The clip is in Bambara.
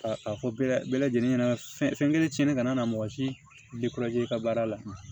Ka a fɔ bɛɛ lajɛlen ɲɛna fɛn kelen tiɲɛnen kana na mɔgɔ si i ka baara la